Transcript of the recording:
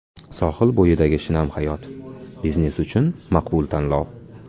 Sohil bo‘yidagi shinam hayot: biznes uchun maqbul tanlov!.